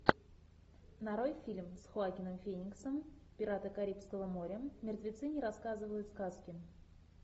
нарой фильм с хоакином фениксом пираты карибского моря мертвецы не рассказывают сказки